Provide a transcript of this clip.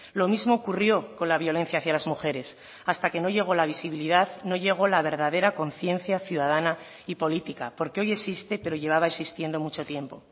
lo mismo ocurrió con la violencia hacia las mujeres hasta que no llegó la visibilidad no llegó la verdadera conciencia ciudadana y política porque hoy existe pero llevaba existiendo mucho tiempo